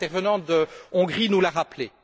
L'intervenant de Hongrie nous l'a rappelé.